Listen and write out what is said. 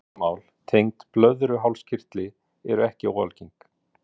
Vandamál tengd blöðruhálskirtli eru ekki óalgeng.